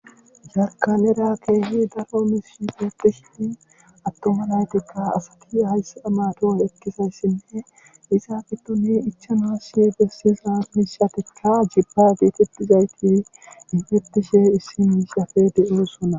sarkalera keehi daro mispetishini attoma naytikka asati hayssa amato ekkisayssinne iza gitoni ichana si gessizaanishatikka jibba geetettizayti infettishe issimiishafe de7eossona